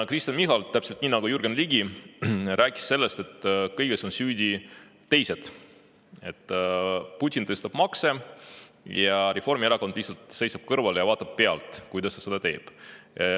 Kristen Michal rääkis täpselt nii nagu Jürgen Ligigi sellest, et kõiges on süüdi teised, et Putin tõstab makse, Reformierakond aga lihtsalt seisab kõrval ja vaatab pealt, kuidas ta seda teeb.